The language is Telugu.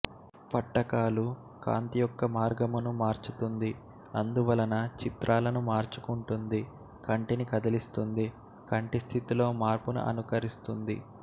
పట్టకాలు కాంతి యొక్క మార్గమును మార్చుతుంది అందువలన చిత్రాలను మార్చుకుంటుంది కంటిని కదిలిస్తుంది కంటి స్థితిలో మార్పును అనుకరిస్తుంది